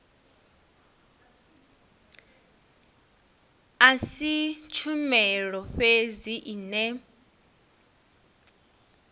a si tshumelo fhedzi ine